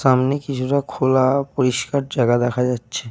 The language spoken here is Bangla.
সামনে কিছুটা খোলা পরিষ্কার জায়গা দেখা যাচ্ছে।